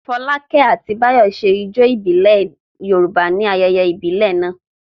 Fọlákẹ́ àti Báyọ̀ ṣe ijó ìbílẹ̀ Yorùbá níbi ayẹyẹ ìbílẹ̀ náà.